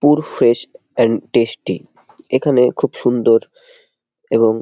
পুর fresh and tasty. এখানে খুব সুন্দর এবং--